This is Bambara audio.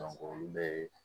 olu bɛ